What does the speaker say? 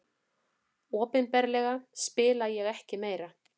Opinberlega spila ég ekki meira.